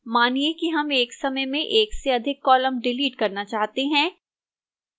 मानिए कि हम एक समय में एक से अधिक column डिलीट करना चाहते हैं